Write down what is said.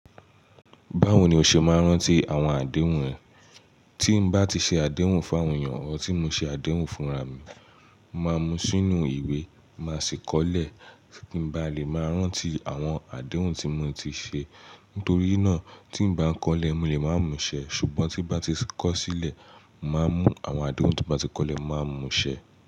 Báwo ni o ṣe máa ń rántí àwọn àdéhùn ẹ? Tí n bá ti ṣe àdéhùn fún àwọn èèyàn, ọọ́ tí mo ṣe àdéhùn fúnra mi, màá mú sínú ìwé, màá ṣí kọ́lẹ́, kí n bá lè máa rántí àwọn àdéhùn tí mo ti ṣe. Nítorí náà, tí n bá kọ́lẹ́, mo lè máa mú ṣẹ, ṣùgbọ́n tí bá ti kọ̀ sílẹ̀, màá n mú àwọn àdéhùn tí bá ti kọ́lẹ̀, màá n mú ṣẹ.